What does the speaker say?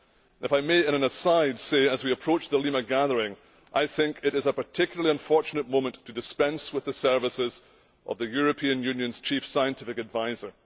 If I may, in an aside, say, as we approach the Lima gathering it is a particularly unfortunate moment to dispense with the services of the European Union's Chief Scientific Adviser.